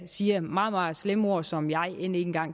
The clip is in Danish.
siger meget meget slemme ord som jeg end ikke